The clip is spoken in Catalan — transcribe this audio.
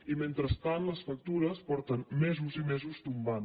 i mentrestant les factures fa mesos i mesos que tomben